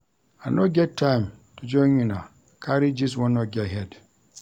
I no get time to join una carry gist wey no get head.